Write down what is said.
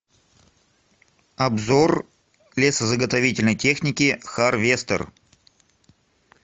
обзор лесозаготовительной техники харвестер